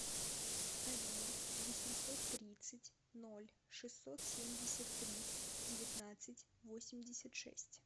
один восемьсот тридцать ноль шестьсот семьдесят три девятнадцать восемьдесят шесть